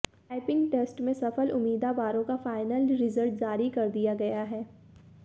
typing test में सफल उम्मीदावारों का फाइनल रिजल्ट जारी कर दिया गया है